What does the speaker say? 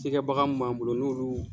Cikɛbaga mun m'an bolo n'u olu